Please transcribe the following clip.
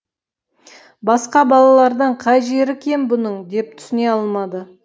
басқа балалардан қай жері кем бұның деп түсіне алмады